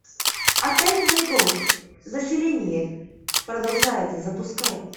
отель мэриголд заселение продолжается запускай